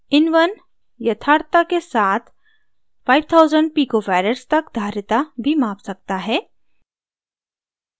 in1 यथार्थता के साथ 5000 pf pico farads तक धारिता भी माप सकता है